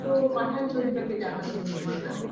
তো pathan ছবিটাকে দেখানো হয়েছে না